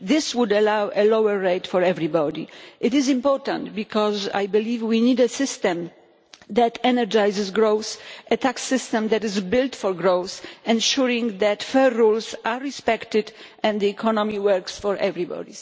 That would ensure a lower rate for everybody. This is important because I believe that we need a system that energises growth, a tax system that is built for growth, ensuring that fair rules are respected and that the economy works for everybody.